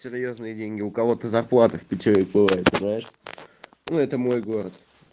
серьёзные деньги у кого то зарплата в питере бывает знаешь ну это мой город